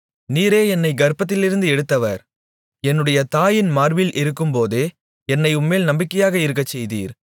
நீரே என்னைக் கர்ப்பத்திலிருந்து எடுத்தவர் என்னுடைய தாயின் மார்பில் இருக்கும் போதே என்னை உம்மேல் நம்பிக்கையாக இருக்கச்செய்தீர்